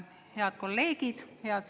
Head kolleegid!